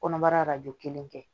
Kɔnɔbara arajo kelen kɛ